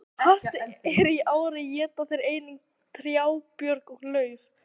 Ef hart er í ári éta þeir einnig trjábörk og lauf.